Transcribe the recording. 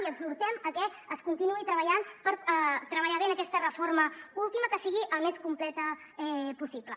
i exhortem a que es continuï treballant per treballar bé en aquesta reforma última que sigui el més completa possible